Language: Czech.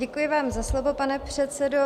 Děkuji vám za slovo, pane předsedo.